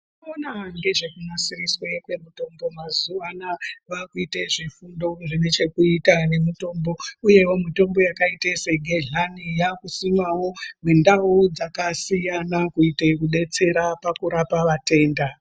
Vanoona ngezve kunasiriswe kwemitombo mazuwa anaa vaakuite zvifundo zvine chekuita nemitombo. Uyewo mitombo yakaite segedhlani yaakusimwawo mundauwo dzakasiyana kuite kudetsera pakurapa vatenda.